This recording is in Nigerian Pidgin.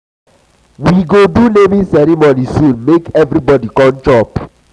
um we um we go do naming ceremony soon make everybodi come chop.